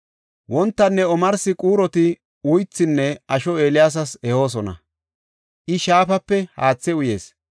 Wontanne omarsi quuroti uythinne asho Eeliyaasas ehoosona; I shaafape haathe uyis.